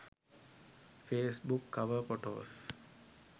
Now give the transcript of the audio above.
facebook cover photos